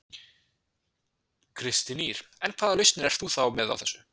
Kristín Ýr: En hvaða lausnir ert þú þá með á þessu?